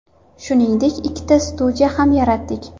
Shuningdek, ikkita studiya ham yaratdik.